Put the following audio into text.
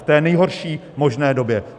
V té nejhorší možné době.